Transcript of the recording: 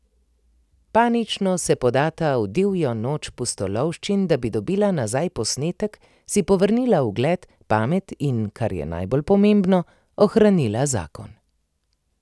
Panično se podata v divjo noč pustolovščin, da bi dobila nazaj posnetek, si povrnila ugled, pamet in, kar je najbolj pomembno, ohranila zakon.